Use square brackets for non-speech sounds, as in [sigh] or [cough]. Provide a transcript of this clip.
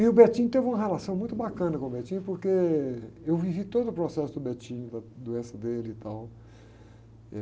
E o, [unintelligible] teve uma relação muito bacana com o, [unintelligible] porque eu vivi todo o processo do, [unintelligible] da doença dele e tal, eh